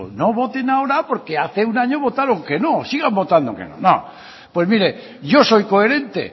no voten ahora porque hace un año votaron que no sigan votando que no pues mire yo soy coherente